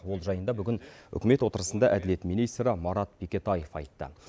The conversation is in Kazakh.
ол жайында бүгін үкімет отырысында әділет министрі марат бекетаев айтты